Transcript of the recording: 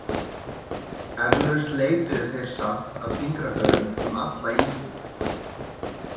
Eflaust leituðu þeir samt af fingraförum um alla íbúð.